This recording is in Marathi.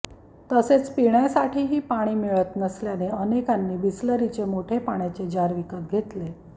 तसेच पिण्यासाठीही पाणी मिळत नसल्याने अनेकांनी बिसलरीचे मोठे पाण्याचे जार विकत घेतले